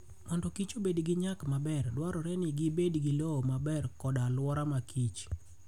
Mondo kich obed gi nyak maber, dwarore ni gibed gi lowo maber kod alwora makichr.